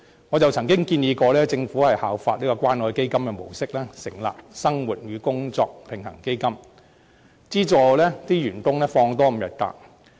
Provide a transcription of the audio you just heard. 我曾建議政府效法關愛基金的模式，成立生活與工作平衡基金，資助員工多放5天假。